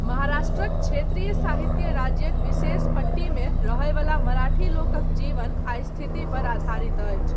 महाराष्ट्रक क्षेत्रीय साहित्य राज्यक विशेष पट्टीमे रहयबला मराठी लोकक जीवन आ स्थिति पर आधारित अछि।